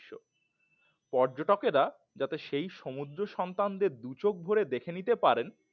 পর্যটকেরা যেন সেই সমুদ্র সন্তানদের দুচোখ ভরে দেখে নিতে পারেন